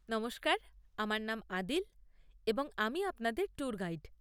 নমস্কার, আমার নাম আদিল এবং আমি আপনাদের ট্যুর গাইড।